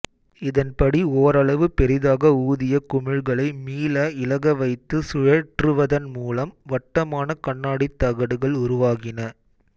இதன்படி ஓரளவு பெரிதாக ஊதிய குமிழ்களை மீள இளகவைத்துச் சுழற்றுவதன் மூலம் வட்டமான கண்ணாடித் தகடுகள் உருவாகின